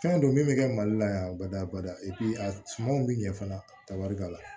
Fɛn don min bɛ kɛ mali la yan bada bada a sumanw bɛ ɲɛ fana ta wari b'a la